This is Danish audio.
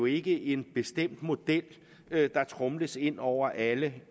ikke en bestemt model der tromles ind over alle